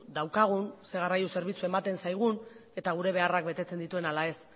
daukagun zer garraio zerbitzu ematen zaigun eta gure beharrak betetzen dituen ala ez